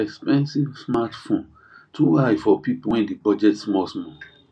expensive smartphone too high for people wey dey budget small small